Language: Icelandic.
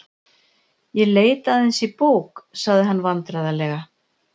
Ég leit aðeins í bók.- sagði hann vandræðalega.